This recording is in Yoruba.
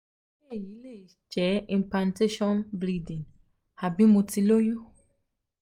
um se eyi le je um impantation um bleeding abi mo ti loyun